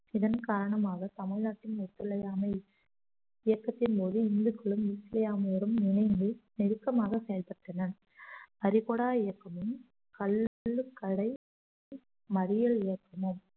இதன் காரணமாக தமிழ்நாட்டின் ஒத்துழையாமை இயக்கத்தின்போது இந்துக்களும் இஸ்லாமியரும் இணைந்து நெருக்கமாக செயல்பட்டனர் கரிகோடா இயக்கமும் கள்ளுக்கடை மறியல் இயக்கமும்